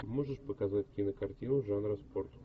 можешь показать кинокартину жанра спорт